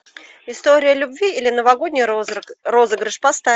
история любви или новогодний розыгрыш поставь